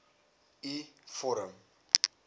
u vorm